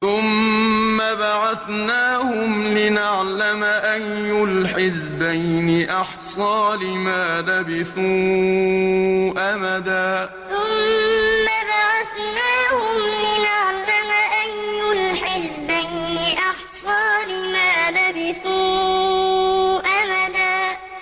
ثُمَّ بَعَثْنَاهُمْ لِنَعْلَمَ أَيُّ الْحِزْبَيْنِ أَحْصَىٰ لِمَا لَبِثُوا أَمَدًا ثُمَّ بَعَثْنَاهُمْ لِنَعْلَمَ أَيُّ الْحِزْبَيْنِ أَحْصَىٰ لِمَا لَبِثُوا أَمَدًا